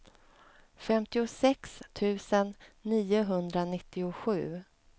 femtiosex tusen niohundranittiosju